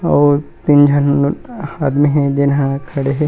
और तीन झन आदमी हे जेन ह खड़े हे।